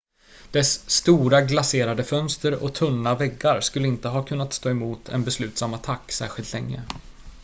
dess stora glaserade fönster och tunna väggar skulle inte ha kunnat stå emot en beslutsam attack särskilt länge